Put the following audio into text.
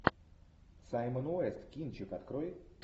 саймон уэст кинчик открой